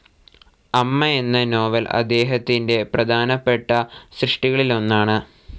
അമ്മ എന്ന നോവൽ അദ്ദേഹത്തിൻ്റെ പ്രധാനപ്പെട്ട സൃഷ്ടികളിലൊന്നാണ്.